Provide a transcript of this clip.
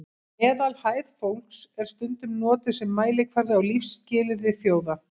meðalhæð fólks er stundum notuð sem mælikvarði á lífsskilyrði þjóða